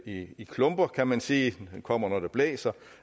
i i klumper kan man sige da den kommer når det blæser